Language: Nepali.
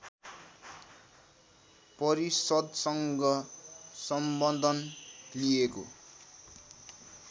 परिषद्सँग सम्बन्धन लिएको